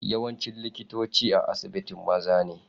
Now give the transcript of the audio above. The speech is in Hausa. Yawancin likitocin a asibitin maza ne.